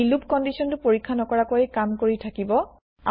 ই loop কন্দিচনটো পৰীক্ষা নকৰাকৈ কাম কৰি থাকিব